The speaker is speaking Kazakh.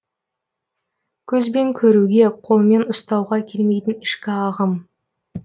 көзбен көруге қолмен ұстауға келмейтін ішкі ағым